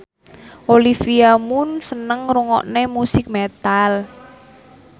Olivia Munn seneng ngrungokne musik metal